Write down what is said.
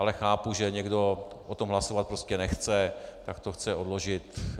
Ale chápu, že někdo o tom hlasovat prostě nechce, tak to chce odložit.